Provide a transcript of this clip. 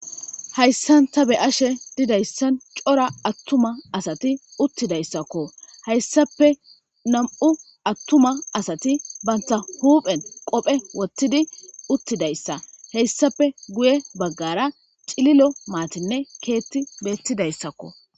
Hayssan ta be'ashe dizayssi cora asatti uttidayssakko. Hayssappe nam''u attuma asatti bantta huphphen qophphe wothththidi uttidayssa . Hayssappe guuye baggara cililo maththinne keththi bettidayssakko.